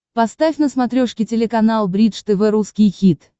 поставь на смотрешке телеканал бридж тв русский хит